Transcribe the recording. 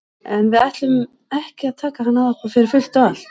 En við ætlum ekki að taka hann að okkur fyrir fullt og allt.